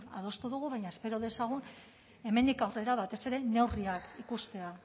adostu dugu baina espero dezagun hemendik aurrera batez ere neurriak ikustea